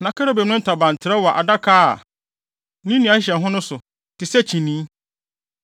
Na kerubim no ntaban trɛw wɔ Adaka a ne nnua hyehyɛ ho no so, te sɛ kyinii.